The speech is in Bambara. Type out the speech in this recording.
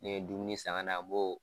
Ne ye dumuni san ka na n b'o